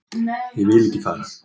Ég vil ekki fara